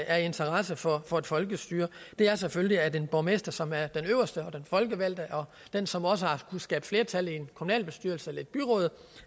er af interesse for for et folkestyre det er selvfølgelig at en borgmester som er den øverste og den folkevalgte og den som også har kunnet skabe flertal i en kommunalbestyrelse eller et byråd